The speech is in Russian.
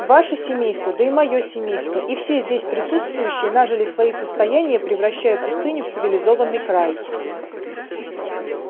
ваше семейство да и моё семейство и все здесь присутствующие нажили свои состояния превращая пустыню в цивилизованный край